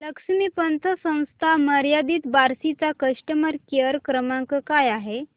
लक्ष्मी पतसंस्था मर्यादित बार्शी चा कस्टमर केअर क्रमांक काय आहे